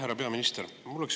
Härra peaminister!